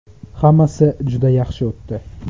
Hammasi juda yaxshi o‘tdi.